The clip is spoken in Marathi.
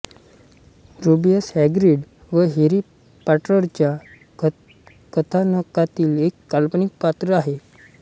रुबियस हॅग्रीड हे हॅरी पॉटरच्या कथानकातील एक काल्पनिक पात्र आहे